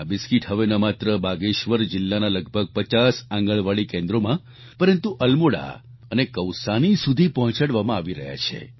આ બિસ્કિટ હવે ન માત્ર બાગેશ્વર જિલ્લાના લગભગ પચાસ આંગણવાડી કેન્દ્રોમાં પરંતુ અલ્મોડા અને કૌસાની સુધી પહોંચાડવામાં આવી રહ્યા છે